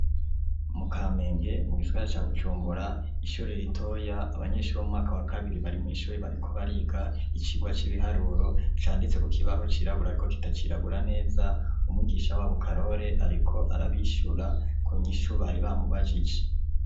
Mu Kamenge mu gisagara ca Bujumbura, ishuri ritoya, abanyeshuri bo mu mwaka wa kabiri bari mw'ishuri bariko bariga icigwa c'ibiharuro canditse ku kibaho cirabura ariko kitacirabura neza, umwigisha wabo Karore ariko arabishura ku nyishu bari bamubajije.